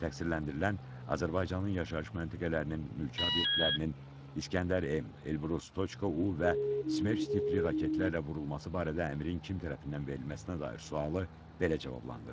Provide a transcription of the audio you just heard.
Təqsirləndirilən Azərbaycanın yaşayış məntəqələrinin, mülki obyektlərinin İsgəndər M, Elbrus K.U və Smerç tipli raketlərlə vurulması barədə əmrin kim tərəfindən verilməsinə dair sualı belə cavablandırdı.